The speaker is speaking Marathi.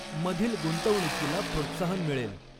मधील ग़ुंतवणूकीला प्रोत्साहन मिळेल.